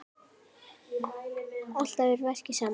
Alltaf að verki saman.